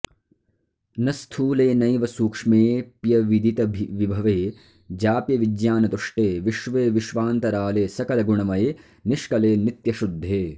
न स्थूले नैव सूक्ष्मेऽप्यविदितविभवे जाप्यविज्ञानतुष्टे विश्वे विश्वान्तराले सकलगुणमये निष्कले नित्यशुद्धे